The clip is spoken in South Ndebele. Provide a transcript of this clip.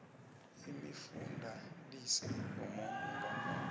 imifundalize yomuntu ngamunye